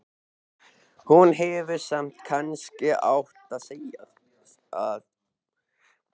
Hún hefði samt kannski átt að þegja.